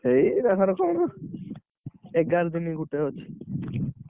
ଏଇ କାହାର କଣ ଏଗାର ଦିନ ଗୁଟେ ଅଛି